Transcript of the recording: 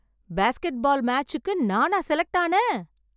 Basket பால் மேட்ச்சுக்கு நானா select ஆனேன்?